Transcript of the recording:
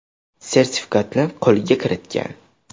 sertifikatini qo‘lga kiritgan.